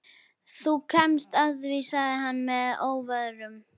Þú kemst að því sagði hann mér að óvörum.